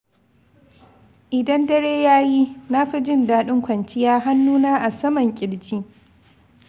Idan dare ya yi, na fi jin daɗin kwanciya hannuna a saman ƙirji.